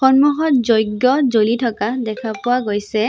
সন্মুখত যজ্ঞ জ্বলি থকা দেখা পোৱা গৈছে।